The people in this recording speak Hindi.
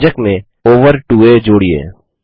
व्यंजक में ओवर 2आ जोड़िये